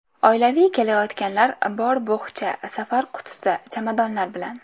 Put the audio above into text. Oilaviy kelayotganlar bor bo‘xcha, safar qutisi, chamadonlar bilan.